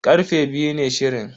Karfe biyu ne shirin.